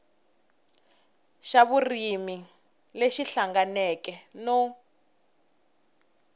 xa vurimi lexi hlanganeke no